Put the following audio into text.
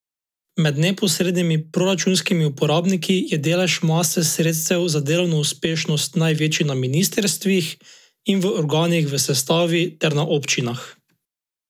Med neposrednimi proračunskimi uporabniki je delež mase sredstev za delovno uspešnost največji na ministrstvih in v organih v sestavi ter na občinah.